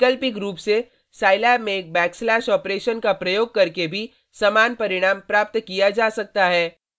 वैकल्पिक रूप से साईलैब में एक बैकस्लैश ऑपरेशन का प्रयोग करके भी समान परिणाम प्राप्त किया जा सकता है